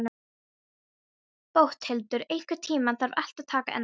Bóthildur, einhvern tímann þarf allt að taka enda.